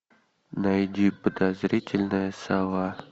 найди подозрительная сова